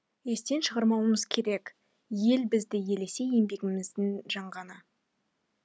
естен шығармауымыз керек ел бізді елесе еңбегіміздің жанғаны